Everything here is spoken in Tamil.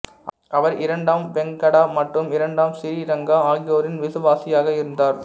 அவர் இரண்டாம் வெங்கடா மற்றும் இரண்டாம் சிறீரங்கா ஆகியோரின் விசுவாசியாக இருந்தார்